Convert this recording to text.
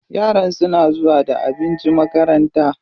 Yaran suna zuwa da abinci makaranta.